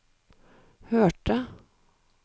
hørte